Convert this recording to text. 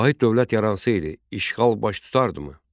Vahid dövlət yaransaydı, işğal baş tutardımı?